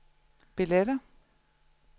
billetter